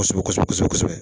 Kɔsɔbɛ kɔsɔbɛ kɔsɔbɛ kɔsɔbɛ